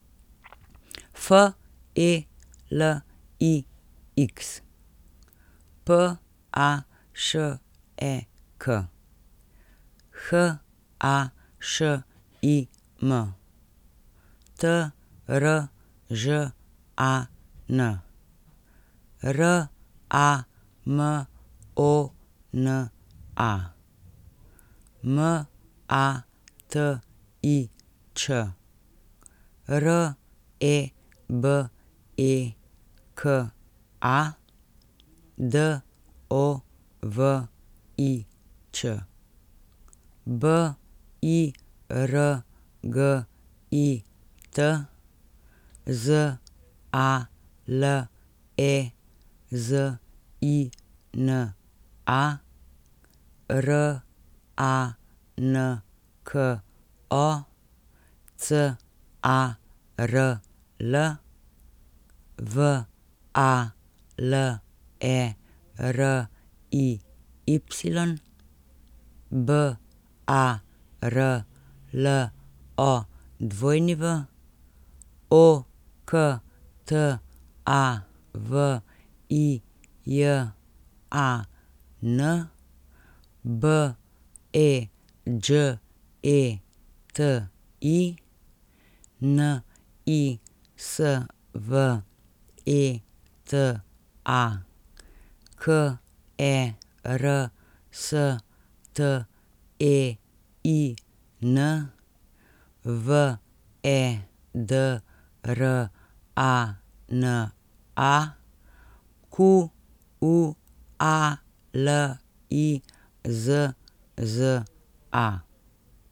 F E L I X, P A Š E K; H A Š I M, T R Ž A N; R A M O N A, M A T I Č; R E B E K A, D O V I Ć; B I R G I T, Z A L E Z I N A; R A N K O, C A R L; V A L E R I Y, B A R L O W; O K T A V I J A N, B E Đ E T I; N I S V E T A, K E R S T E I N; V E D R A N A, Q U A L I Z Z A.